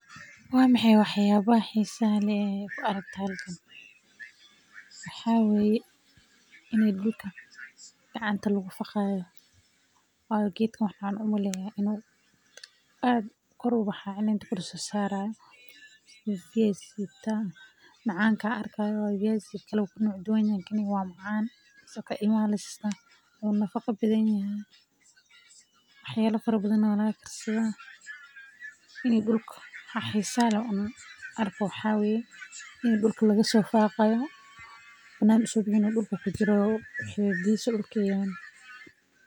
Waa maxay wax yaabaha xiisaha leh oo aad ku aragto halkan waxaa waye meel gacmaha lagu falaayo waa geed macaan oo ilmaha la siisto wuu nafaqa badan yahay dulka ayaa laga soo faaqi haaya.